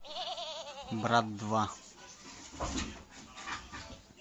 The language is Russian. брат два